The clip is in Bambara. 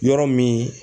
Yɔrɔ min